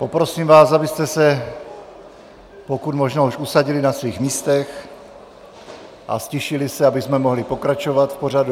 Poprosím vás, abyste se pokud možno už usadili na svých místech a ztišili se, abychom mohli pokračovat v pořadu.